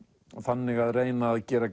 þannig að reyna að gera